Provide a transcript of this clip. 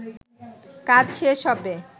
কাজ শেষ হবে